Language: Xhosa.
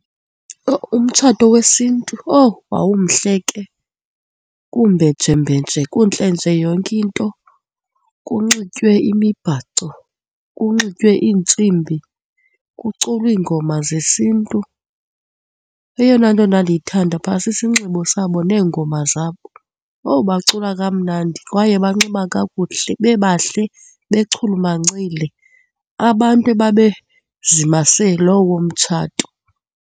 Owu! Umtshato wesiNtu, owu! Wawumhle ke kumbejembenje kuntle nje yonke into, kunxitywe imibhaco, kunxitywe iintsimbi, kuculwa iingoma zesiNtu. Eyona into endandiyithanda phaya sisinxibo sabo neengoma zabo, owu! Bacula kamnandi kwaye banxiba kakuhle, bebahle bechulumancile abantu ebabezimase lowo mtshato.